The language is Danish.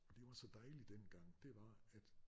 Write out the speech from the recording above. Og det var så dejligt dengang det var at